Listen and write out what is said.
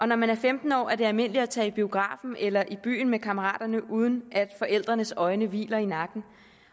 når man er femten år er det almindeligt at tage i biografen eller i byen med kammeraterne uden at forældrenes øjne hviler i nakken